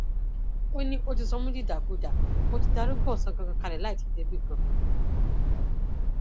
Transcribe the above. ó ní ó ti sọ mí dìdàkudà mo ti darúgbó ọsán gangan kalẹ láì tì í débì kan